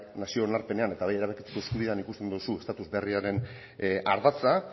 nazio onarpenean eta bai erabakitzeko eskubidean ikusten duzu estatus berriaren ardatza